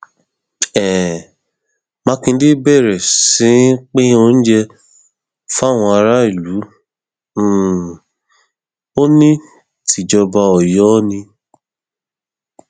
um mákindé bẹrẹ sí í pín oúnjẹ fáwọn aráàlú um ó ní tìjọba ọyọ ni